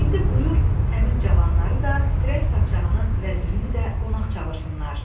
İndi buyur həmin cavanları da, firəng padşahının vəzirini də qonaq çağırsınlar.